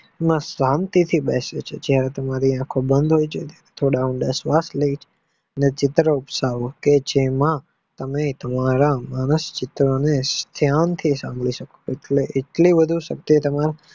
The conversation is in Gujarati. ને શાંતિ થી બેસે છે જયારે તમારી આંખો બન હોય છે ને ચિત્ર વિકસાવો જેમાં તમે સરસ ચિત્રને ધ્યાન થી સાંભરી શકો છો કેટલી બધી શક્યતાનો